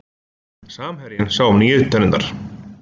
Samherjinn sá um nýju tennurnar